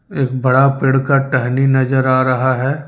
एक बड़ा पेड़ का टहनी नजर आ रहा है।